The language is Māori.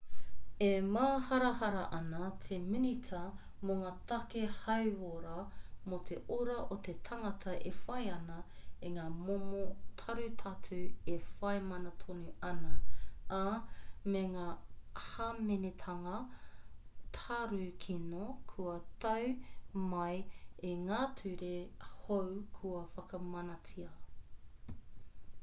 e māharahara ana te minita mō ngā take hauora mō te ora o te tangata e whai ana i ngā momo tarutatu e whai mana tonu ana ā me ngā hāmenetanga tarukino kua tau mai i ngā ture hou kua whakamanatia